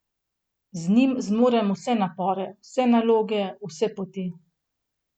Z njim zmorem vse napore, vse naloge, vse poti.